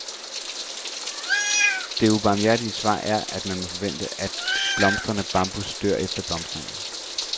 Det ubarmhjertige svar er, at man må forvente, at blomstrende bambus dør efter blomstringen.